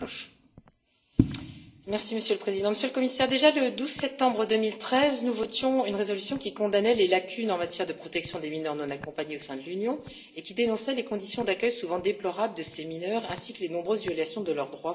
Monsieur le Président, Monsieur le Commissaire, le 12 septembre 2013 déjà, nous votions une résolution qui condamnait les lacunes en matière de protection des mineurs non accompagnés au sein de l'Union et dénonçait les conditions d'accueil, souvent déplorables, de ces mineurs ainsi que les nombreuses violations de leurs droits fondamentaux dans certains États membres.